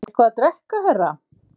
Eitthvað að drekka, herra?